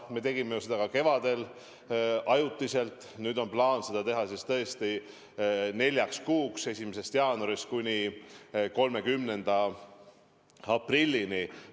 Me tegime seda ka kevadel ajutiselt, nüüd on plaan see kehtestada neljaks kuuks: 1. jaanuarist kuni 30. aprillini.